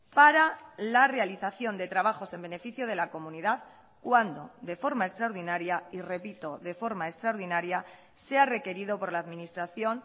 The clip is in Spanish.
para la realización de trabajos en beneficio de la comunidad cuando de forma extraordinaria y repito de forma extraordinaria sea requerido por la administración